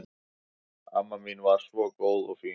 Amma mín var svo góð og fín.